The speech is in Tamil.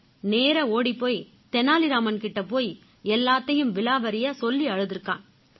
நேரா ஓடிப் போய் தெனாலி ராமன் கிட்ட போய் எல்லாத்தையும் விவரமா சொல்லி அழுதிருக்கான்